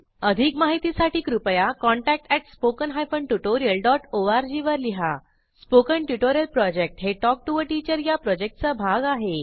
अधिक माहितीसाठी कृपया contact at spoken hyphen tutorial dot O R G वर लिहा स्पोकन ट्युटोरियल प्रॉजेक्ट हे टॉक टू टीचर या प्रॉजेक्टचा भाग आहे